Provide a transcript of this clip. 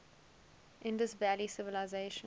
indus valley civilization